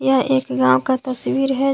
यह एक गांव का तस्वीर है।